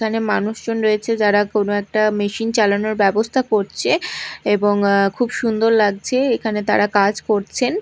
এখানে মানুষজন রয়েছে যারা কোন একটা মেশিন চালানোর ব্যবস্থা করছে এবং খুব সুন্দর লাগছে এখানে তারা কাজ করছেন।